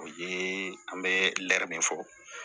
O ye an bɛ lɛ fɔ